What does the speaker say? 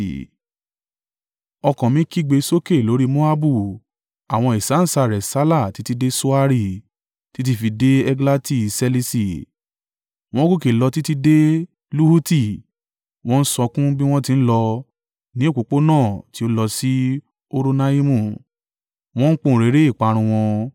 Ọkàn mi kígbe sókè lórí Moabu; àwọn ìsáǹsá rẹ sálà títí dé Soari, títí fi dé Eglati-Ṣeliṣi. Wọ́n gòkè lọ títí dé Luhiti wọ́n ń sọkún bí wọ́n ti ń lọ, ní òpópónà tí ó lọ sí Horonaimu wọ́n ń pohùnréré ìparun wọn.